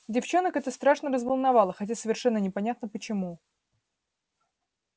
девчонок это страшно разволновало хотя совершенно непонятно почему